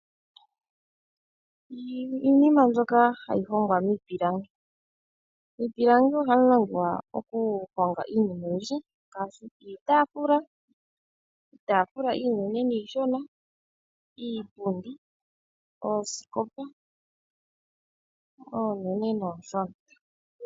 Iinima mbyoka hayi hongwa miipilangi, miipilangi ohamu hongwa iinima oyindji ngaashi iitaafula, iitafula iinene niishona iipundi oosikopa oonene nooshona.